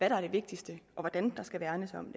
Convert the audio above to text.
der er det vigtigste og hvordan der skal værnes om